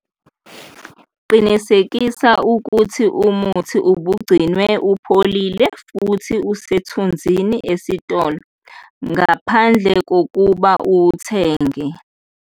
Qinisekisa ukuthi umuthi ubugcinwe ipholile futhi usethunzini esitolo ngaphandle kokuba uwuthenge.